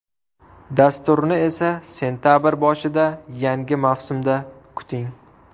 Dasturni esa sentabr boshida, yangi mavsumda kuting!